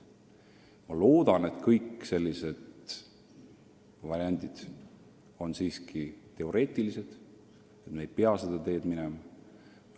Ma loodan, et kõik sellised variandid on siiski teoreetilised ja me ei pea seda teed minema.